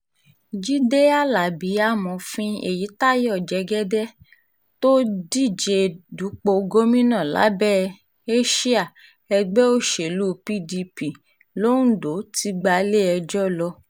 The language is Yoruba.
jíde alábi amọfin eyitayo jẹ́gẹ́dẹ́ tó díje dupò gómìnà lábẹ́ àsíá ẹgbẹ́ òṣèlú pdp londo ti gbalé ẹjọ́ lọ